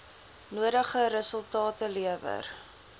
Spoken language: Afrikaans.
nodige resultate lewer